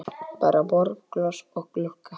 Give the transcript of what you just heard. Bara borð, glös og glugga.